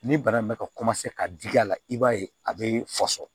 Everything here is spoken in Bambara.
Ni bana in bɛ ka ka digi a la i b'a ye a bɛ fɔsɔ